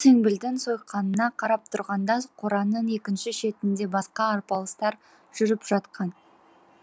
ол теңбілдің сойқанына қарап тұрғанда қораның екінші шетінде басқа арпалыстар жүріп жатқан